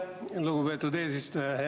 Aitäh, lugupeetud eesistuja!